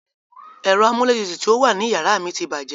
Ẹ̀rọ amúlétutù tí ó wà ní yàrá mi ti bàjẹ́.